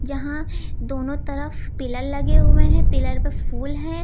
जहां दोनों तरफ पिलर लगे हुए हैं। पिलर पर फूल हैं।